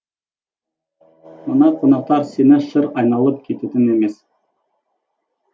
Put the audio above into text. мына қонақтар сені шыр айналып кететін емес